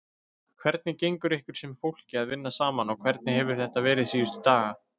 Hvernig gengur ykkur sem fólki að vinna saman og hvernig hefur þetta verið síðustu daga?